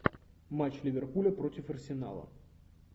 матч ливерпуля против арсенала